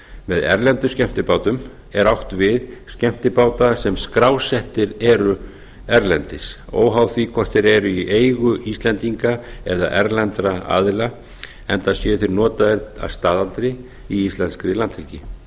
með erlendum skemmtibátum er átt við skemmtibáta sem skrásettir eru erlendis óháð því hvort þeir eru í eigu íslendinga eða erlendra aðila enda séu þeir notaðir að staðaldri í íslenskri landhelgi